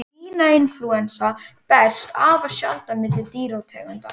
Svínainflúensa berst afar sjaldan milli dýrategunda.